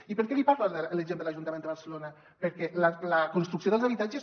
i per què li parlo de l’exemple de l’ajuntament de barcelona perquè la construcció dels habitatges